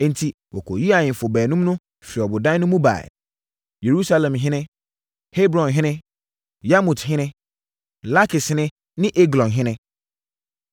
Enti, wɔkɔyii ahemfo baanum no firi ɔbodan no mu baeɛ: Yerusalemhene, Hebronhene, Yarmuthene, Lakishene ne Eglonhene.